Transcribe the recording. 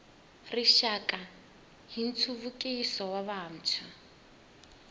rixaka ya nhluvukiso wa vantshwa